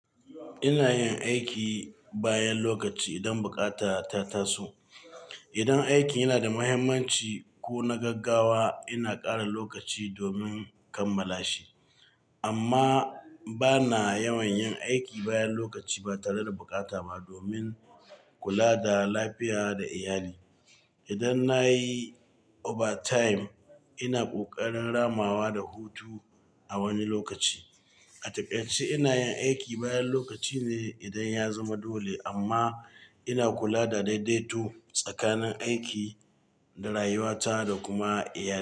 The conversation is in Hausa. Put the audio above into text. Ina yin aiki bayan lokaci idan bukata ta taso. Idan aikin yana da muhimmanci ko na gaggawa, ina ƙara lokaci domin kammala shi. Amma ba na yawan yin aiki bayan lokaci ba tare da bukata ba domin kula da lafiya da iyali. Idan na yi overtime, ina ƙoƙarin ramawa da hutu a wani lokaci. A takaice ina yin aiki bayan lokaci ne idan ya zama dole, amma ina kula da daidaito tsakanin aiki da rayuwata da kuma iyali.